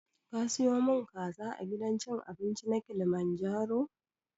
Ka siyo mun kaza a gidan cin abinci na kilimanjaro?